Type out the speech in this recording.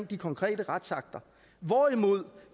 de konkrete retsakter hvorimod